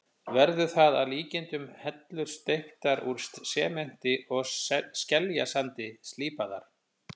Verður það að líkindum hellur steyptar úr sementi og skeljasandi, slípaðar.